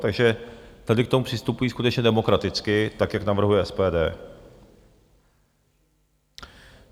Takže tady k tomu přistupují skutečně demokraticky, tak jak navrhuje SPD.